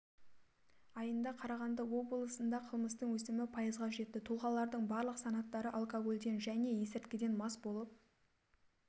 айында қарағанды облысында қылмыстың өсімі пайызға жетті тұлағалардың барлық санаттары алкогольден және есірткіден мас болып